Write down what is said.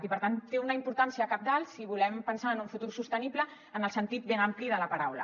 i per tant té una importància cabdal si volem pensar en un futur sostenible en el sentit ben ampli de la paraula